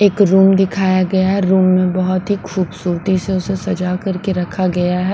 एक रूम दिखाया गया है रूम में बहुत ही खूबसूती से उसे सजा करके रखा गया है।